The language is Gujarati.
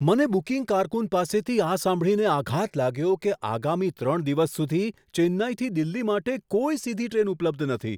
મને બુકિંગ કારકુન પાસેથી આ સાંભળીને આઘાત લાગ્યો કે આગામી ત્રણ દિવસ સુધી ચેન્નઈથી દિલ્હી માટે કોઈ સીધી ટ્રેન ઉપલબ્ધ નથી.